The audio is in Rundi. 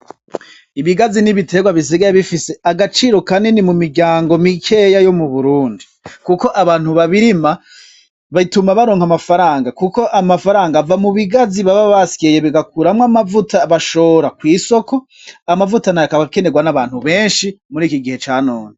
Ibigazi ni ibiterwa bisigaye bifise agaciro kanini mu miryango mikeya yo mu Burundi. Kuko abantu babirima, bituma baronka amafaranga. Kuko amafaranga ava mu bigazi baba basyeye bagakuramwo amavuta agashora kw'isoko. Amavuta nayo akaba akenerwa n'abantu benshi muriki gihe ca none.